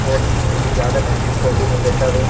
और ज्यादा महंगी कॉफी नहीं देता वे. --